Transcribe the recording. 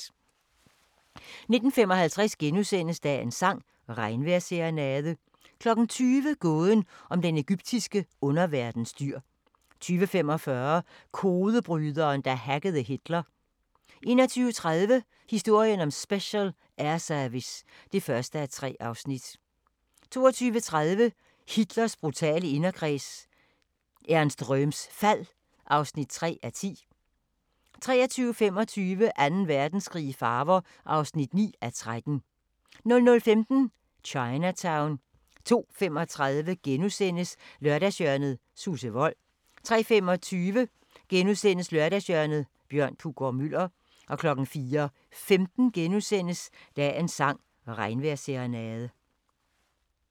19:55: Dagens sang: Regnvejrsserenade * 20:00: Gåden om den egyptiske underverdens dyr 20:45: Kodebryderen, der hackede Hitler 21:30: Historien om Special Air Service (1:3) 22:30: Hitlers brutale inderkreds – Ernst Röhms fald (3:10) 23:25: Anden Verdenskrig i farver (9:13) 00:15: Chinatown 02:35: Lørdagshjørnet – Susse Wold * 03:25: Lørdagshjørnet – Bjørn Puggaard-Muller * 04:15: Dagens sang: Regnvejrsserenade *